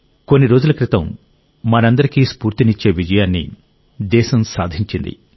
కొన్ని రోజుల క్రితం మనందరికీ స్ఫూర్తినిచ్చే విజయాన్ని దేశం సాధించింది